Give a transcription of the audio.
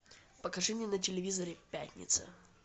покажи мне на телевизоре пятница